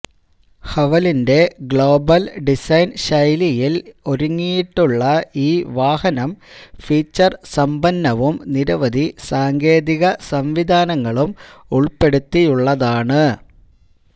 ഹവലിന്റെ global design ശൈലിയില് ഒരുങ്ങിയിട്ടുള്ള ഈ വാഹനം ഫീച്ചര് സമ്പന്നവും നിരവധി സാങ്കേതിക സംവിധാനങ്ങളും ഉള്പ്പെടുത്തിയുള്ളതാണ്